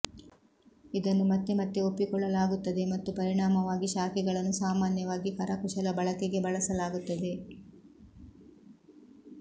ಇದನ್ನು ಮತ್ತೆ ಮತ್ತೆ ಒಪ್ಪಿಕೊಳ್ಳಲಾಗುತ್ತದೆ ಮತ್ತು ಪರಿಣಾಮವಾಗಿ ಶಾಖೆಗಳನ್ನು ಸಾಮಾನ್ಯವಾಗಿ ಕರಕುಶಲ ಬಳಕೆಗೆ ಬಳಸಲಾಗುತ್ತದೆ